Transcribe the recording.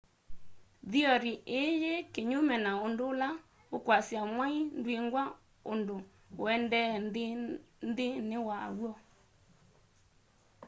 theory ii yi kinyume na undu ula ukwasya mwai ndwingwa undu uendeea nthini waw'o